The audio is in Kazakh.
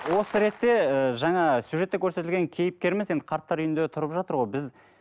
осы ретте ы жаңа сюжетте көрсетілген кейіпкеріміз енді қарттар үйінде тұрып жатыр ғой біз